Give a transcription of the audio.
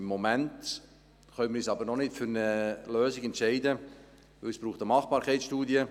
Im Moment können wir uns jedoch noch nicht für eine Lösung entscheiden, denn es braucht eine Machbarkeitsstudie.